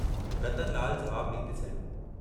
रतनलाल जवाबु डींदे चयो।